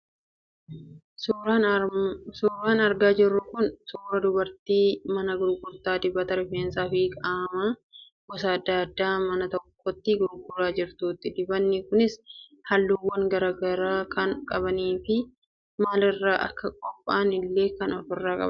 Suuraan argaa jirru kun suuraa dubartii mana gurgurtaa dibata rifeensaa fi qaamaa gosa adda addaa mana tokkotti gurguraa jirtuuti. Dibanni kunis halluuwwan garaa garaa kan qabanii fi maal irraa akka qophaa'an illee kan ofirraa qabanidha.